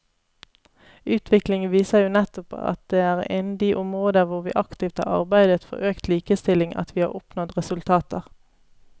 Utviklingen viser jo nettopp at det er innen de områder hvor vi aktivt har arbeidet for økt likestilling at vi har oppnådd resultater.